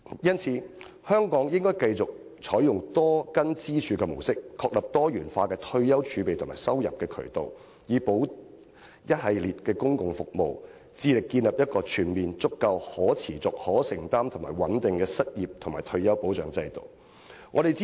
因此，香港應繼續採用多根支柱的模式，確立多元化的退休儲備和收入渠道，並輔以一系列的公共服務，致力建立一個全面充足、可持續、有承擔和穩定的失業和退休保障制度。